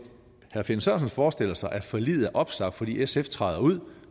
herre finn sørensen forestiller sig at forliget er opsagt fordi sf træder ud